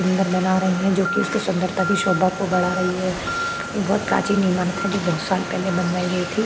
सुंदर बना रहे हैं जो कि उसके सुंदरता की शोभा को बढ़ा रही है यह एक प्राचीन इमारत है जो की बहुत साल पहले बनवाई गई थी।